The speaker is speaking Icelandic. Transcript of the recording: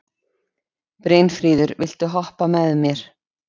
Brynfríður, viltu hoppa með mér?